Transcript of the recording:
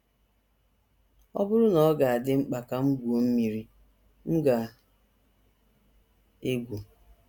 “ Ọ Bụrụ na Ọ Ga - adị Mkpa Ka M Gwuo Mmiri, M Ga - egwu ”